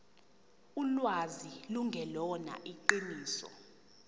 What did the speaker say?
ulwazi lungelona iqiniso